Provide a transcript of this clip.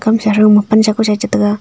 pamsa thow ma pansa kusa a che taiga.